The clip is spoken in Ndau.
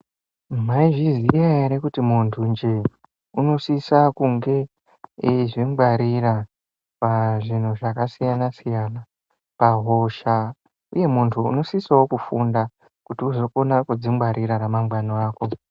Maizviziya ere kuti muntunje unosisa kunge eizvingwarira pazvinhu zvakasiyana siyana pahosha , uye muntu unosisewo kufunda kuti uzokona kudzingwarira ramangwani rako .